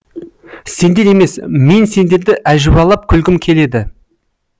сендер емес мен сендерді әжуалап күлгім келеді